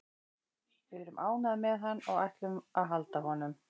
Við erum ánægðir með hann og við ætlum að halda honum.